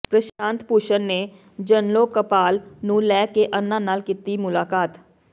ਪ੍ਰਸ਼ਾਂਤ ਭੂਸ਼ਣ ਨੇ ਜਨਲੋਕਪਾਲ ਨੂੰ ਲੈ ਕੇ ਅੰਨਾ ਨਾਲ ਕੀਤੀ ਮੁਲਾਕਾਤ